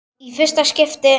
Í fyrsta skipti.